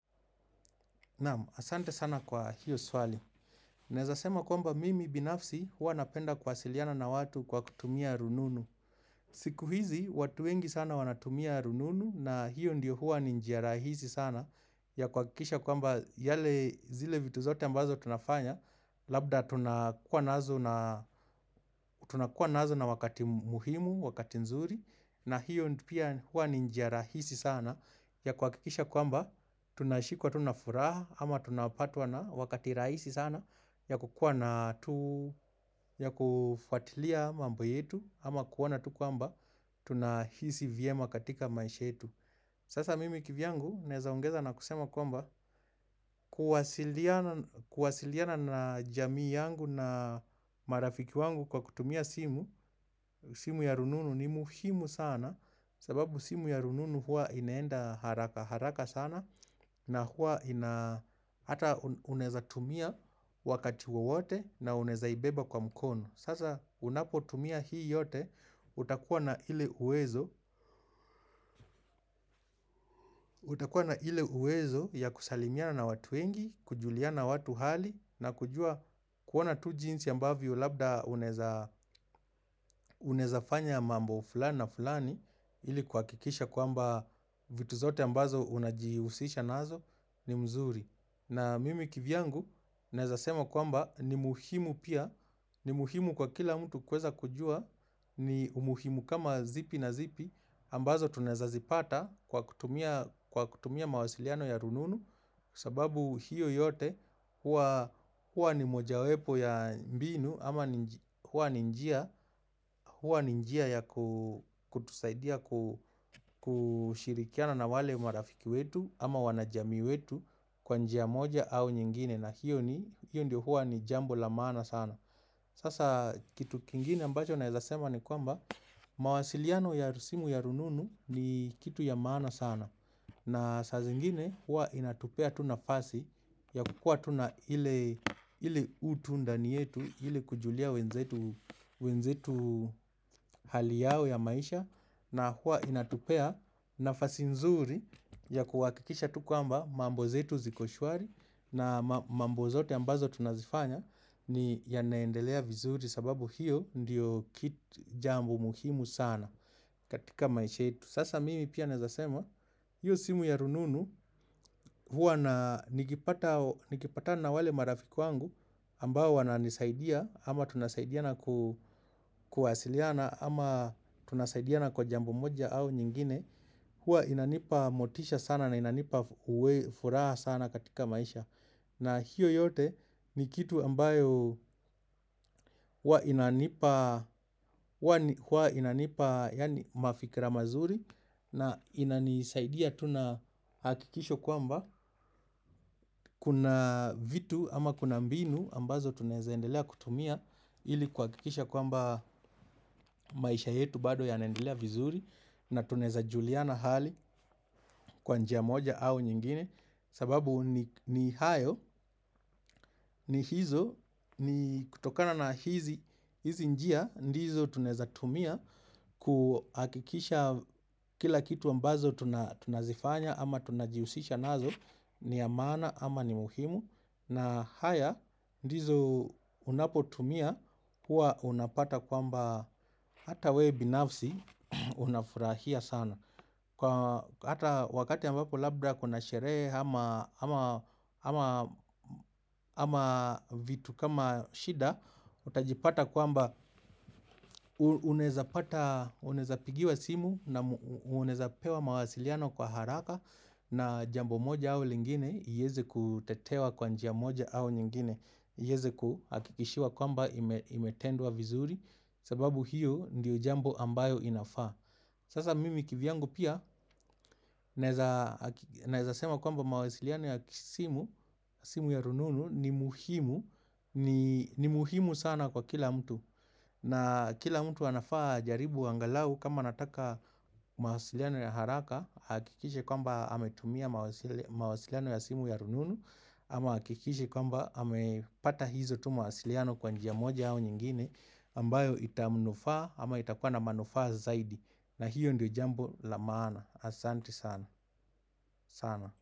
Naam, asante sana kwa hiyo swali. Naweza sema kwamba mimi binafsi huwa napenda kuwasiliana na watu kwa kutumia rununu. Siku hizi, watu wengi sana wanatumia rununu na hiyo ndio hua ni njia rahisi sana ya kuhakikisha kwamba yale zile vitu zote ambazo tunafanya. Labda tunakuwa nazo na tunakuwa nazo na wakati muhimu, wakati nzuri. Na hiyo pia huwa ni njia rahisi sana ya kuhakikisha kwamba tunashikwa tu na furaha ama tunapatwa na wakati rahisi sana ya kukuwa na tu ya kufuatilia mambo yetu ama kuoana tu kwamba tunahisi vyema katika maisha yetu. Sasa mimi kivyangu naweza ongeza na kusema kwamba kuwa kuwasiliana na jamii yangu na marafiki wangu kwa kutumia simu simu ya rununu ni muhimu sana sababu simu ya rununu huwa inaenda haraka haraka sana na huwa ina ata unaweza tumia wakati wowote na unaweza ibeba kwa mkono. Sasa unapotumia hii yote, utakuwa na ile uwezo, utakuwa na ile uwezo ya kusalimiana na watu wengi, kujuliana watu hali, na kujua kuona tu jinsi ambavyo labda unawezafanya mambo fulani na fulani, ili kuhakikisha kwamba vitu zote ambazo unajihusisha nazo ni mzuri. Na mimi kivyangu naweza sema kwamba ni muhimu pia, ni muhimu kwa kila mtu kuweza kujua, ni umuhimu kama zipi na zipi ambazo tunaweza zipata kwa kutumia mawasiliano ya rununu kwa sababu hiyo yote huwa huwa ni mojawepo ya mbinu ama huwa ni njia ya kutusaidia kushirikiana na wale marafiki wetu ama wanajamii wetu kwa njia moja au nyingine na hiyo ni hiyo ndiyo huwa ni jambo la maana sana. Sasa kitu kingine ambacho naweza sema ni kwamba mawasiliano ya simu ya rununu ni kitu ya maana sana na saa zingine huwa inatupea tu nafasi ya kukuwa tu na ile ile utu ndani yetu ili kujulia wenzetu wenzetu hali yao ya maisha na huwa inatupea nafasi nzuri ya kuhakikisha tu kwamba mambo zetu ziko shwari na mambo zote ambazo tunazifanya ni yanaendelea vizuri sababu hiyo ndiyo kit jambo muhimu sana katika maisha yetu. Sasa mimi pia naweza sema, hiyo simu ya rununu huwa na nikipa nikipatana na wale marafiki wangu ambao wananisaidia ama tunasaidiana ku kuwasiliana ama tunasaidiana kwa jambo moja au nyingine huwa inanipa motisha sana na inanipa uwe furaha sana katika maisha. Na hiyo yote ni kitu ambayo huwa inanipa yaani mafikira mazuri na inanisaidia tu na hakikisho kwamba kuna vitu ama kuna mbinu ambazo tunaweza endelea kutumia ili kuhakikisha kwamba maisha yetu bado yanaendelea vizuri na tunaweza juliana hali kwa njia moja au nyingine. Sababu ni hayo ni hizo ni kutokana na hizi njia ndizo tunaweza tumia kuhakikisha kila kitu ambazo tunazifanya ama tunajihusisha nazo ni ya maana ama ni muhimu na haya ndizo unapotumia kuwa unapata kwamba hata we binafsi unafurahia sana. Kwa hata wakati ambapo labda kuna sherehe ama vitu kama shida, utajipata kwamba unaweza pata unaweza pigiwa simu na unaweza pewa mawasiliano kwa haraka na jambo moja au lingine iweze kutetewa kwa njia moja au nyingine, iweze kuhakikishiwa kwamba imetendwa vizuri sababu hiyo ndiyo jambo ambayo inafaa. Sasa mimi kivyangu pia naweza sema kwamba mawasiliano ya simu ya rununu ni muhimu ni muhimu sana kwa kila mtu. Na kila mtu anafaa ajaribu angalau kama anataka mawasiliano ya haraka, ahakikishe kwamba ametumia mawasiliano ya simu ya rununu ama ahakikishe kwamba amepata hizo tu mawasiliano kwa njia moja au nyingine ambayo itamnufaa ama itakuwa na manufaa zaidi. Na hiyo ndio jambo la maana. Asante sana, sana.